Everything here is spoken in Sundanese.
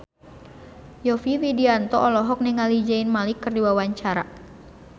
Yovie Widianto olohok ningali Zayn Malik keur diwawancara